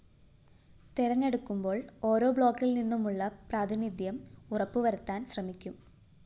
തെരഞ്ഞെടുക്കുമ്പോള്‍ ഓരോ ബ്ലോക്കില്‍നിന്നുമുള്ള പ്രാതിനിധ്യം ഉറപ്പുവരുത്താന്‍ ശ്രമിക്കും